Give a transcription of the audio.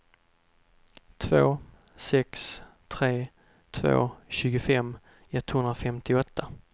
två sex tre två tjugofem etthundrafemtioåtta